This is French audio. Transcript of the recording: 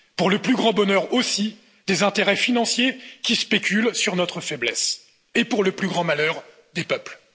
Pour le plus grand bonheur aussi des intérêts financiers qui spéculent sur notre faiblesse et pour le plus grand malheur des peuples.